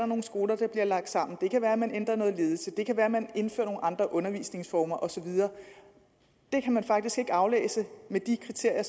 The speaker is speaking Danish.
nogle skoler der bliver lagt sammen det kan være man ændrer noget ledelse det kan være man indfører nogle andre undervisningsformer og så videre det kan man faktisk ikke aflæse med de kriterier